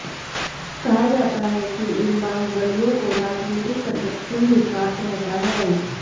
कहा जाता है कि इन बाहुबलियों को राजनीतिक संरक्षण भी प्राप्त रहता है